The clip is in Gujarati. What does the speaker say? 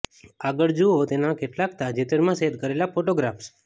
આગળ જુઓ તેના કેટલાક તાજેતરમાં શેર કરેલા ફોટોગ્રાફ્સ